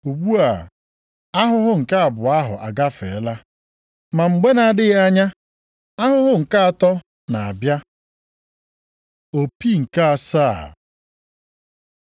Ugbu a ahụhụ nke abụọ ahụ agafeela. Ma mgbe na-adịghị anya, ahụhụ nke atọ na-abịa. Opi nke asaa